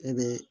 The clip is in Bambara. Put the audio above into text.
E bɛ